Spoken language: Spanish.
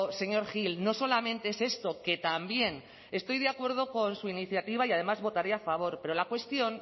señor gil no solamente es esto que también estoy de acuerdo con su iniciativa y además votaré a favor pero la cuestión